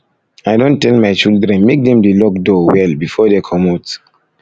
i don tell my children make dem dey lock door well before dey comot comot